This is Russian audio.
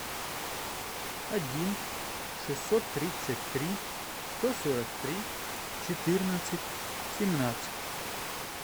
один шестьсот тридцать три сто сорок три четырнадцать семнадцать